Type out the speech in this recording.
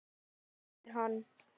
æpir hann.